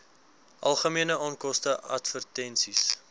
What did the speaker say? algemene onkoste advertensies